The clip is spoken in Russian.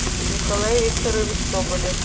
николай викторович соболев